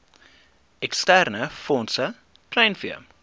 eksterne fondse kleinvee